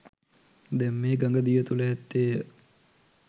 දැන් මේ ගඟ දිය තුළ ඇත්තේ ය